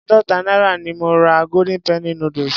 Àádọta náírà ni mo ra golden penny noodles.